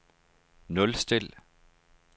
nulstil